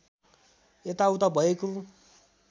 यता उता भएको